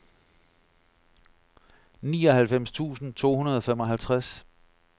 nioghalvfems tusind to hundrede og femoghalvtreds